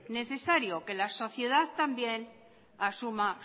necesario que la sociedad también asuma